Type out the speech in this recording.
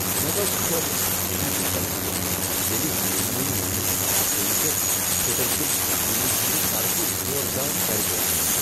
مےٚ گوٚو خٲلص خوشی ہُند تجربہٕ ییٚلہ فلمہ منٛز میانِہ اداکٲری پیٹھ تھیٹر کین سامعینن ہٕندِ طرفہٕ زوردار ژَرِپوٚپ میُول۔